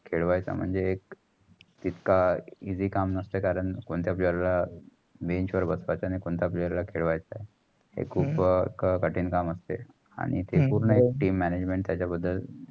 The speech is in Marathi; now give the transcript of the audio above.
खैलवायचा म्हणजे? एक इतका eassy काम नसतो. कारण कोणतेय player ला bench वर बशवयचा कोणतेय player खेळायचं हा खूप कठीण काम असते आणि ते एक पूर्ण team management त्यांचा बदल